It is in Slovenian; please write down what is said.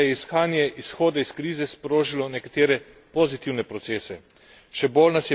Po drugi strani pa je iskanje izhoda iz krize sprožilo nekatere pozitivne procese.